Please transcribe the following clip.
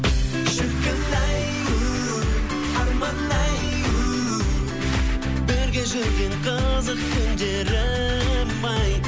шіркін ай у арман ай у бірге жүрген қызық күндерім ай